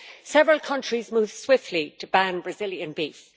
Several countries moved swiftly to ban Brazilian beef.